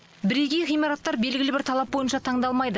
бірегей ғимараттар белгілі бір талап бойынша таңдалмайды